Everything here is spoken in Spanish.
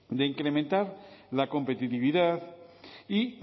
de incrementar la competitividad y